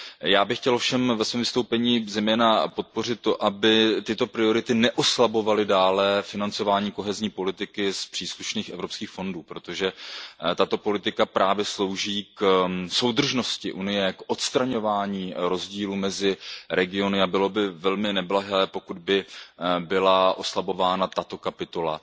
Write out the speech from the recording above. Já bych chtěl ovšem ve svém vystoupení zejména podpořit to, aby tyto priority neoslabovaly dále financování kohezní politiky z příslušných evropských fondů, protože tato politika právě slouží k soudržnosti Evropské unie, k odstraňování rozdílů mezi regiony a bylo by velmi neblahé, pokud by byla oslabována tato kapitola